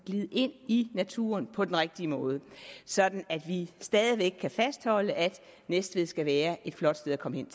glide ind i naturen på den rigtige måde sådan at vi stadig væk kan fastholde at næstved skal være et flot sted at komme hen